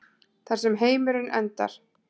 Þar sem heimurinn endar.